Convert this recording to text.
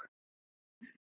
Það var tómt.